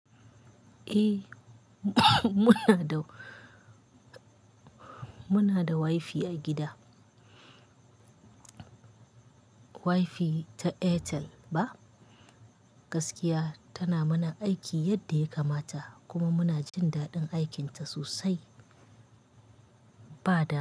Eh muna da, muna da wifi a gida. Wifi ta Airtel ba. Gaskiya tana mana aiki yadda ya kamata kuma muna jin daɗin aikinta sosai. Bad.